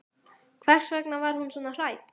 Hvers vegna var hún svona hrædd?